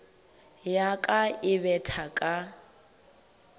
ya ka e betha ka